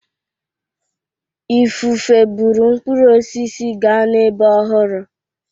Ifufe buru mkpụrụ osisi gaa n'ebe ọhụrụ.